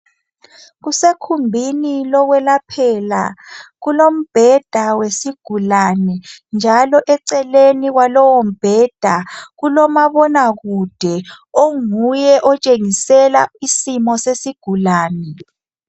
Kusekhumbini lokwelaphela. Kulombheda wesigulani, njalo eceleni kwalowo mbheda kulomabonakude onguye otshengisela isimo sesigulani.